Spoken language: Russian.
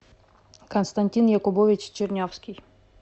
константин якубович чернявский